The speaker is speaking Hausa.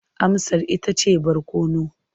Amsar ita ce barkono.